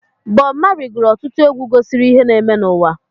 Bob Marley gụrụ ọtụtụ egwu gosiri ihe na-eme n'ụwa.